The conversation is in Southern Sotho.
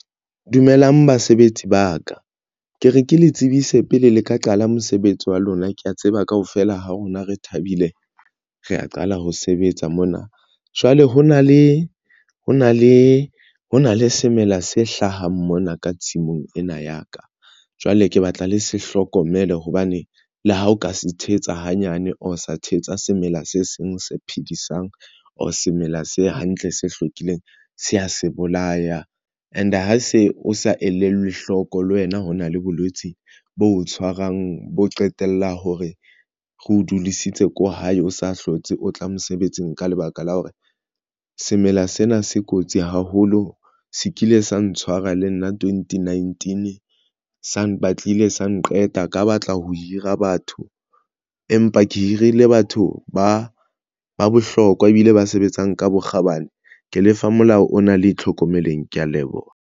Dumelang basebetsi ba ka, ke re ke le tsebise pele le ka qala mosebetsi wa lona, kea tseba kaofela ha rona re thabile, re ya qala ho sebetsa mona. Jwale ho na le semela se hlahang mona ka tshimong ena ya ka jwale ke batla le se hlokomele hobane le ha o ka se tshehetsa hanyane, or sa thetsa semela se seng se phedisang or semela se hantle, se hlwekileng, se a se bolaya and ha se o sa elellwe hloko le wena. Ho na le bolwetsi bo tshwarang bo qetella hore re o dudisitse ko hae, o sa hlotse, o tla mosebetsing ka lebaka la hore semela sena se kotsi haholo. Se kile sa ntshwara le nna twenty nineteen sa batlile sa nqeta ka batla ho hira batho, empa ke hirile batho ba ba bohlokwa ebile ba sebetsang ka bokgabane ke lefa molao o na le tlhokomeleng. Ke ya leboha.